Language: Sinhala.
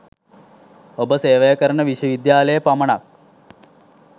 ඔබ සේවය කරන විශ්ව විද්‍යාලයේ පමණක්